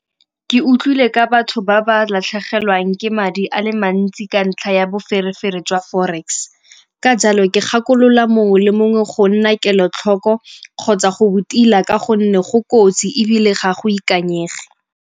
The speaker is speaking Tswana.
Ke utlwile ka batho ba ba latlhegelwang ke madi a le mantsi ka ntlha ya boferefere jwa forex, ka jalo ke gakolola mongwe le mongwe go nna kelotlhoko kgotsa go rutiwa ka gonne go kotsi ebile ga go ikanyega.